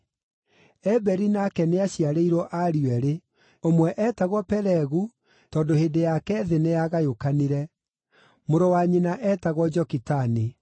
Eberi nake nĩaciarĩirwo ariũ eerĩ: Ũmwe eetagwo Pelegu, tondũ hĩndĩ yake thĩ nĩyagayũkanire; mũrũ wa nyina eetagwo Jokitani.